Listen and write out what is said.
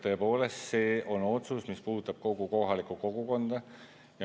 Tõepoolest see on otsus, mis puudutab kogu kohalikku kogukonda.